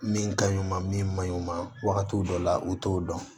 Min ka ɲi ma min ka ɲi ma wagatiw dɔ la u t'o dɔn